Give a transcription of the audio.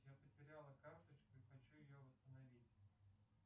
я потеряла карточку и хочу ее восстановить